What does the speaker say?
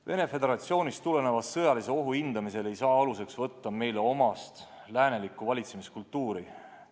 Venemaa Föderatsioonist tuleneva sõjalise ohu hindamisel ei või aluseks võtta meile omast läänelikku valitsemiskultuuri.